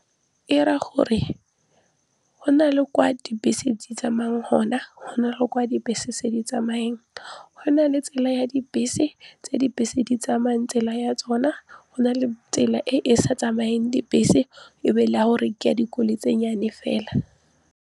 E raya gore go na le kwa dibese di tsamaya gon, a go na le kwa dibese se di tsamayeng go na le tsela ya dibese tse dibese di tsamaya tsela ya tsona go na le tsela e e sa tsamayeng dibese e be le ya gore ke ya dikoloi tse nnyane fela.